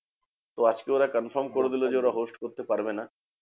তো আজকে ওরা confirm করে দিলো যে ওরা host করতে পারবে না।